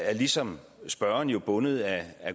er ligesom spørgeren bundet af